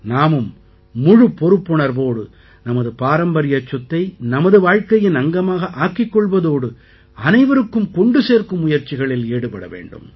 நாமும் முழுப் பொறுப்புணர்வோடு நமது பாரம்பரியச் சொத்தை நமது வாழ்க்கையின் அங்கமாக ஆக்கிக் கொள்வதோடு அனைவருக்கும் கொண்டு சேர்க்கும் முயற்சிகளில் ஈடுபட வேண்டும்